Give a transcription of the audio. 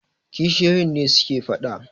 kishiyoyi ne suke fada